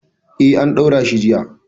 Eh, an ɗaura shi jiya.